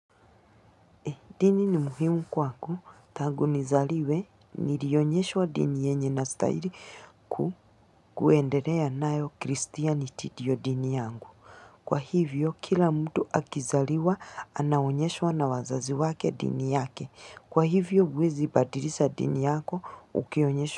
E, dini ni muhimu kwangu tangu nizaliwe, nirionyeshwa dini yenye nastahiri ku, kuenderea nao kristianiti ndiyo dini yangu. Kwa hivyo, kila mtu akizaliwa, anaonyeshwa na wazazi wake dini yake. Kwa hivyo, huwezi badirisha dini yako, ukionyesho.